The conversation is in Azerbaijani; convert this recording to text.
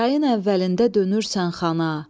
Yayın əvvəlində dönürsən xana.